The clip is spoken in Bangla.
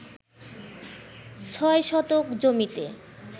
৬ শতক জমিতে